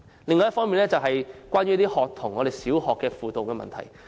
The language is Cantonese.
另一個我想討論的問題是小學學童輔導。